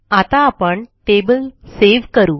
आता आपण table save करू